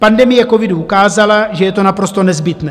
Pandemie covidu ukázala, že je to naprosto nezbytné.